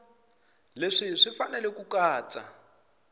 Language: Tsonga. leswi swi fanele ku katsa